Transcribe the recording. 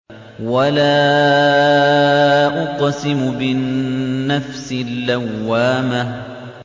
وَلَا أُقْسِمُ بِالنَّفْسِ اللَّوَّامَةِ